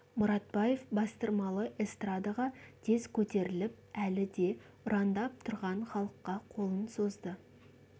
мұратбаев бастырмалы эстрадаға тез көтеріліп әлі де ұрандап тұрған халыққа қолын созды